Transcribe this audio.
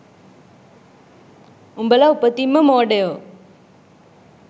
උඹල උපතින්ම මෝඩයො